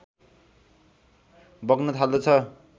बग्न थाल्दछ